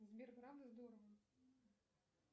сбер правда здорово